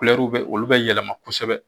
bɛ olu bɛ yɛlɛma kosɛbɛ